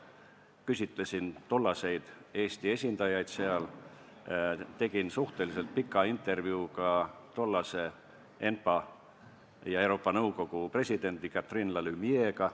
Küsitlesin tollaseid Eesti esindajaid seal, tegin suhteliselt pika intervjuu ka tollase ENPA ja Euroopa Nõukogu presidendi Catherine Lalumière'iga.